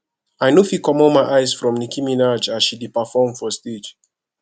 i no fit comot my eyes from nicki minaj as she dey perform for stage